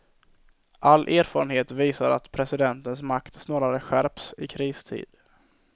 All erfarenhet visar att presidentens makt snarare skärps i kristid.